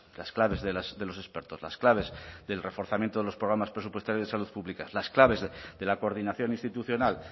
las claves de los expertos las claves del reforzamiento de los programas presupuestarios de salud pública las claves de la coordinación institucional